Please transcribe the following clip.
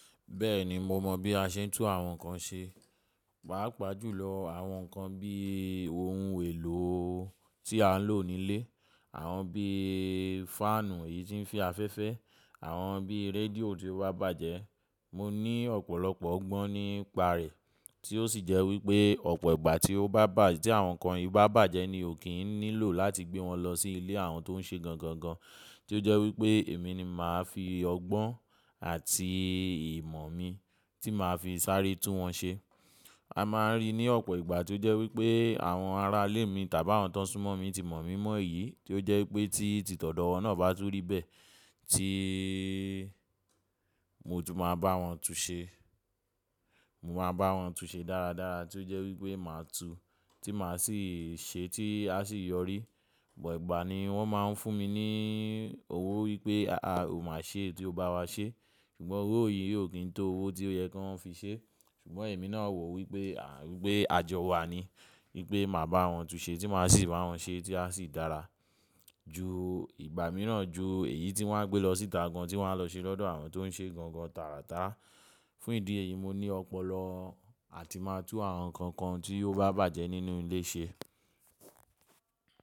Bẹ́ẹ̀ni, mo mọ̀ bí a ṣe ń tún àwọn nǹkan ṣe, pàápàá jùlọ àwọn nǹkan bí ohun èlò tí a ń lò nílé, àwọn bí fáànù yìí tí ń fe afẹ́fẹ́, àwọn bí rédíò tí ó bá bàjẹ́. Mo ní ọ̀pọ̀lọpọ̀ ọgbọ́n nípa rẹ̀ tí ó sì jẹ́ wípé ọ̀pọ̀ ìgbà tí ó bá bà tí àwọn nǹkan yìí bá bàjẹ́ ni ó kì ń nílò láti gbé wọn lọ sí ilé àwọn tó ń ṣe gangan gan, tí ó jẹ́ wípé èmi ni màá fi ọgbọ́n àti ìmọ̀ mi tí màá fi sáré tún wọn ṣe. A máa ń rí i ní ọ̀pọ̀ ìgbà tí ó jẹ́ wípé àwọn ará ilé mi tàbí àwọn tó súnmọ́ mi ti mọ̀ mí mọ́ yìí tí ó jẹ́ wípé tí tìti odọ̀wọ́n náà bá tún rí bẹ́ẹ̀ tí mo tún máa bá wọn tún un ṣe. Mo máa bá wọn tún ṣe dáradára tí ó jẹ́ wípé màá tún tí màá sì ṣe tí a sì yọrí. Ìgbà ní wọ́n máa ń fún mi ní owó wípé, à, ó máa ṣe ètò bá wa ṣe ṣùgbọ́n owó yìí ò kí n tó owó tí ó yẹ kí wọ́n fi ṣe. Ṣùgbọ́n èmi náà wò wípé, à, wípé àjọ wa ni wípé màá bá wọn tún ṣe tí màá sì bá wọn ṣe tí a sì dára ju ìgbà mìíràn ju èyí tí wọ́n á gbé lọ síta gan tí wọ́n á lọ sí lọ́dọ̀ àwọn tó ń ṣe gangan tàràtà. Fún ìdí èyí, mo ní ọpọlọ àti máa tún àwọn nǹkan kan tí ó bá bàjẹ́ nínú ilé ṣe.